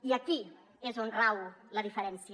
i aquí és on rau la diferència